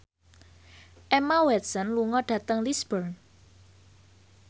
Emma Watson lunga dhateng Lisburn